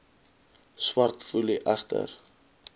swart foelie agter